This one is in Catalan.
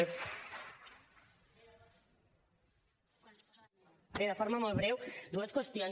bé de forma molt breu dues qüestions